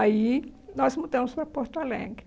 Aí, nós mudamos para Porto Alegre.